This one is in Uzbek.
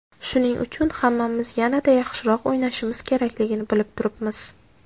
Shuning uchun hammamiz yanada yaxshiroq o‘ynashimiz kerakligini bilib turibmiz.